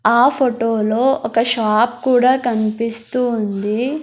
ఆ ఫోటోలో ఒక షాప్ కూడా కనిపిస్తూ ఉంది.